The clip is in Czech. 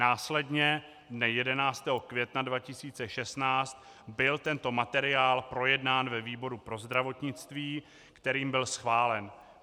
Následně dne 11. května 2016 byl tento materiál projednán ve výboru pro zdravotnictví, kterým byl schválen.